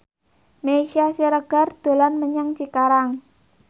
Meisya Siregar dolan menyang Cikarang